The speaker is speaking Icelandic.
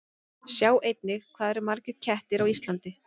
Sjá einnig: Hvað eru margir kettir á Íslandi?